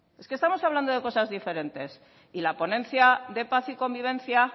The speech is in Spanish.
es que estamos hablando de cosas diferentes y la ponencia de paz y convivencia